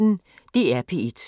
DR P1